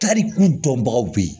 Tariku dɔnbagaw bɛ yen